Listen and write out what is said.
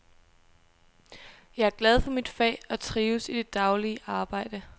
Jeg er glad for mit fag og trives i det daglige arbejde.